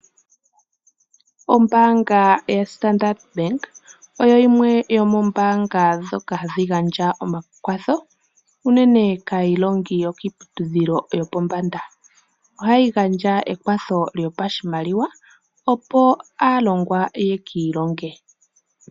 Ombaanga yaStandard Bank oyo yimwe yomoombanga ndhoka hadhi gandja omakwatho unene kaayilongi yokiiputudhilo yopombanda. Ohayi gandja ekwatho lyopashimaliwa opo aalongwa ye ki ilonge.